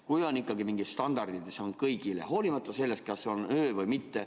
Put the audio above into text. Kui on ikkagi mingid standardid, siis on kõigile, hoolimata sellest, kas on öö või mitte.